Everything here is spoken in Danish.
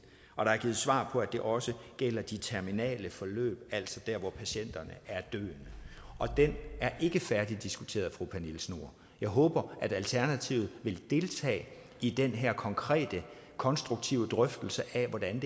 og der er givet svar på at det også gælder de terminale forløb altså der hvor patienterne er døende det er ikke færdigdiskuteret fru pernille schnoor jeg håber at alternativet vil deltage i den her konkrete og konstruktive drøftelse af hvordan